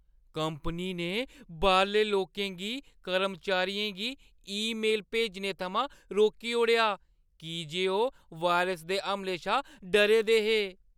Company ने बाह्‌रले लोकें गी कर्मचारियें गी ईमेल भेजने थमां रोकी ओड़ेआ की जे ओह् वायरस दे हमलें शा डरे दे हे।